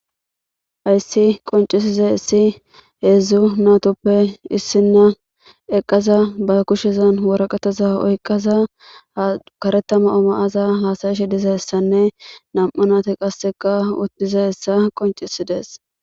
ayssi qoncisiza issi heedzdzu natoppe issinna eqqaza ba kushezan woraqataza oykqaza karetama oma7aza haasayishe dizayessanne nam7u nati qasseka uttizaessa qoncisidees